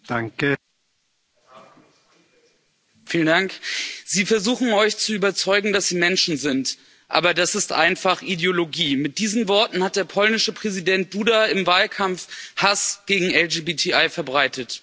Herr Präsident! Sie versuchen, euch zu überzeugen, dass sie Menschen sind. Aber das ist einfach Ideologie. Mit diesen Worten hat der polnische Präsident Duda im Wahlkampf Hass gegen LGBTI verbreitet.